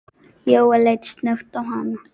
Jóel leit snöggt á hana.